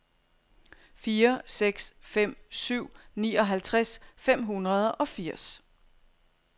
fire seks fem syv nioghalvtreds fem hundrede og firs